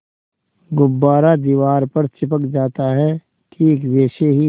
गुब्बारा दीवार पर चिपक जाता है ठीक वैसे ही